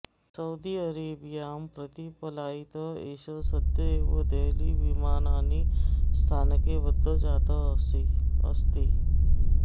Saudi अरेबियां प्रति पलायितः एषः सद्यः एव देहलीविमाननिस्थानके बद्धः जातः अस्ति